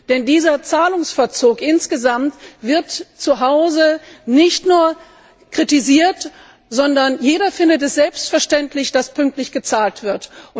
Denn dieser Zahlungsverzug insgesamt wird zu Hause nicht nur kritisiert, sondern jeder findet es selbstverständlich, dass pünktlich gezahlt wird.